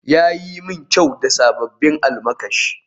Ya yi min kyau da sabbin almakashi